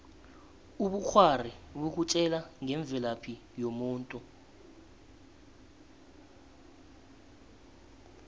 ubukghwari bukutjela ngemvelaphi yomuntu